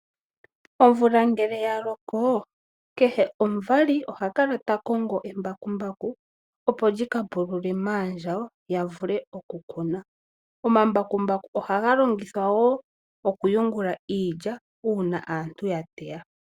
Omvula ngele ya loko, kehe omuvali oha kala ta kongo embakumbaku opo li ka pulule maandjawo ya vule okukuna. Omambakumbaku oha ga longithawa wo okuyungula iilya, uuna aantu ya teya.